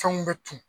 Fɛnw bɛ tunun